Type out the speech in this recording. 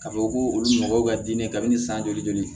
K'a fɔ ko olu nɔgɔw ka di ne ye kabini san joli joli